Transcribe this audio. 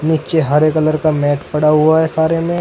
नीचे हरे कलर का मैट पड़ा हुआ है सारे में।